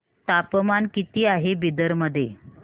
तापमान किती आहे बिदर मध्ये